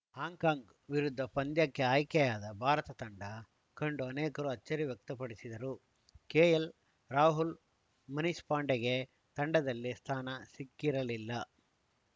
Hong Kong ವಿರುದ್ಧ ಪಂದ್ಯಕ್ಕೆ ಆಯ್ಕೆಯಾದ ಭಾರತ ತಂಡ ಕಂಡು ಅನೇಕರು ಅಚ್ಚರಿ ವ್ಯಕ್ತಪಡಿಸಿದರು ಕೆಎಲ್‌ರಾಹುಲ್‌ ಮನೀಶ್‌ ಪಾಂಡೆಗೆ ತಂಡದಲ್ಲಿ ಸ್ಥಾನ ಸಿಕ್ಕಿರಲಿಲ್ಲ